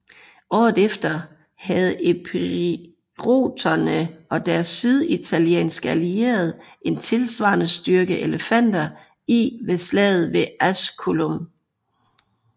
Året efter havde epiroterne og deres syditalienske allierede en tilsvarende styrke elefanter i ved slaget ved Asculum